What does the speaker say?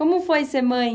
Como foi ser mãe?